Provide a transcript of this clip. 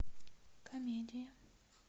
комедия